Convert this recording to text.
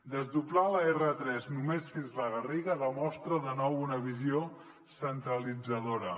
desdoblar l’r3 només fins a la garriga demostra de nou una visió centralitzadora